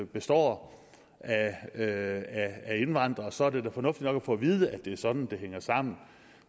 består af af indvandrere så er det da fornuftigt nok at få at vide at det er sådan det hænger sammen